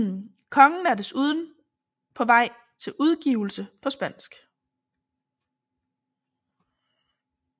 Kongen er desuden på vej til udgivelse på spansk